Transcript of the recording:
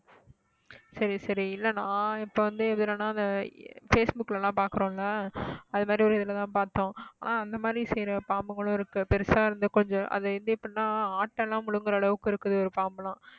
சரி சரி இல்லை நான் இப்ப வந்து எதுலன்னா இந்த facebook ல எல்லாம் பார்க்கிறோம்ல அது மாதிரி ஒரு இதுல தான் பார்த்தோம் ஆஹ் அந்த மாதிரி செய்யற பாம்புகளும் இருக்கு பெருசா இருந்து கொஞ்சம் அது வந்து எப்படின்னா ஆட்டை எல்லாம் முழுங்கற அளவுக்கு இருக்குது ஒரு பாம்பெல்லாம்